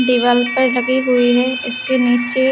दिवार पर लगी हे इसके निचे --